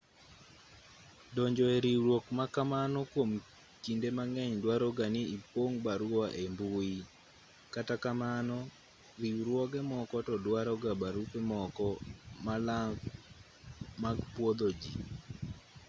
donjo e riwruok ma kamano kwom kinde mang'eny duaro ga ni ipong' barua ei mbui kata kamano riwruoge moko to duaroga barupe moko malang' mag pwodho ji